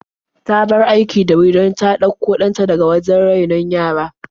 Ta bar aiki da wuri don ta ɗauko ɗan ta daga wajen renon yara.